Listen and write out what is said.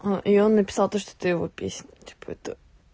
а и он написал то что это его песня типа это